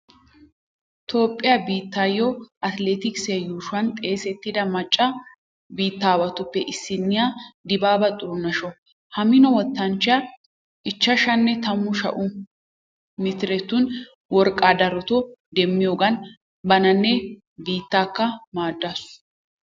Toophphiya biittiyo atileetikssiya yuushuwan xeesissida macca biittaawatuppe issinniya dibaaba xurunesho. Ha mino wottanchchiya ichchashshanne taamu sha'u mitiretun worqqaa darotoo demmiyogan bananne biittaakka maaddaasu.